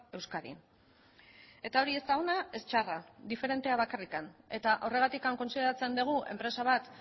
euskadin eta hori ez da ona ez txarra diferente bakarrik eta horregatik kontsideratzen dugu enpresa bat